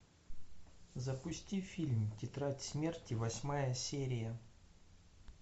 запусти фильм тетрадь смерти восьмая серия